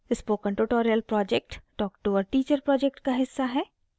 spoken tutorial project talk to a teacher project का हिस्सा है